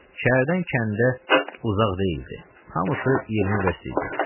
Şəhərdən kəndə uzaq deyildi, hamısı 20 verst idi.